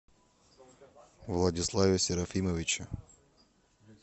владиславе серафимовиче